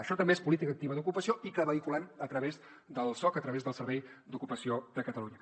això també és política activa d’ocupació i que vehiculem a través del soc a través del servei d’ocupació de catalunya